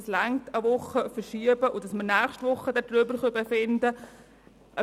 Dazu reicht eine Verschiebung um eine Woche, sodass wir nächste Woche darüber befinden können.